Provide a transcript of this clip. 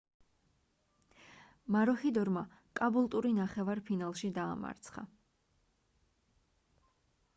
მაროჰიდორმა კაბულტური ნახევარ ფინალში დაამარცხა